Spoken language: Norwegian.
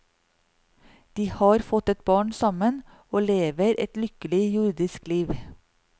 De har fått et barn sammen og lever et lykkelig jordisk liv.